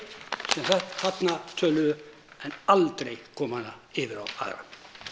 sem þarna töluðu en aldrei koma henni yfir á aðra